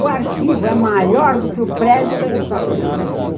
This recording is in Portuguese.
O arquivo é maior do que o prédio da História e Geografia.